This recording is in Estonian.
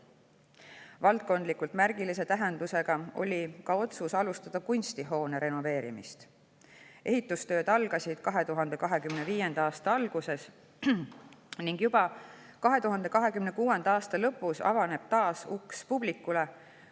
Valdkondlikult märgilise tähendusega oli ka otsus alustada Kunstihoone renoveerimist: ehitustööd algasid 2025. aasta alguses ning juba 2026. aasta lõpus avaneb taas uks publikule.